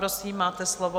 Prosím, máte slovo.